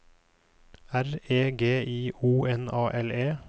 R E G I O N A L E